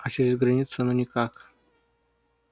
а через границу ну никак